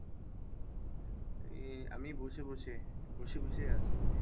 এই আমি বসে বসে, বসে বসেই আছি।